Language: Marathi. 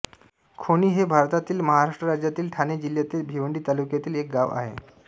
खोणी हे भारतातील महाराष्ट्र राज्यातील ठाणे जिल्ह्यातील भिवंडी तालुक्यातील एक गाव आहे